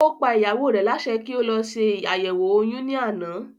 Ó pa ìyàwó rẹ̀ lásẹ kí ó lọ se àyẹ̀wò oyún ní àná